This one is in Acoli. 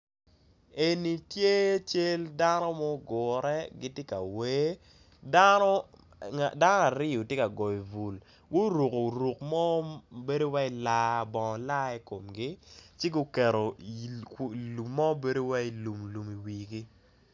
Eni tye cal dano ma ogure gitye ka wer dano aryo tye ka goyo bul guruko ruk mo mabedo wai bongo lai ikomgi ci guketo lum mo wai lumlum i wigi.